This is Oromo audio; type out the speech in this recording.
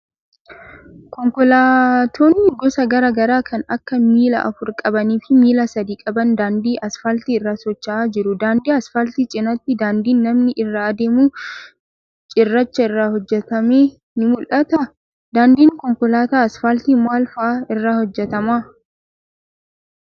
Konkolaattonni gosa garaa garaa kan akka miila afur qabanii fi miila sadi qabanii daandii asfaaltii irra socho'aa jiru. Daandii asfaaltii cinaatti daandiin namni irra adeemu cirracha irraa hojjatame ni mul'ata? Daandiin konkolaataa asfaaltii maal faa irraa hojjatama?